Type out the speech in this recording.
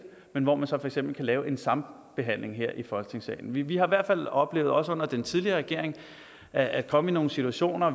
men hvor man så for eksempel kunne lave en sambehandling her i folketingssalen vi vi har i hvert fald oplevet også under den tidligere regering at komme i nogle situationer